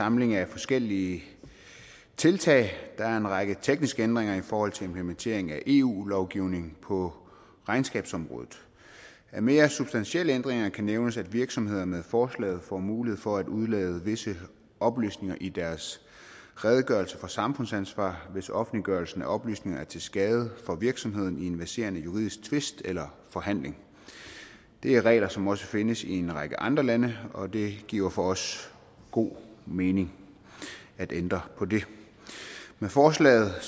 samling af forskellige tiltag der er en række tekniske ændringer i forhold til implementering af eu lovgivning på regnskabsområdet af mere substantielle ændringer kan nævnes at virksomheder med forslaget får mulighed for at udelade visse oplysninger i deres redegørelse for samfundsansvar hvis offentliggørelsen af oplysninger er til skade for virksomheden i en verserende juridisk tvist eller forhandling det er regler som også findes i en række andre lande og det giver for os god mening at ændre på det med forslaget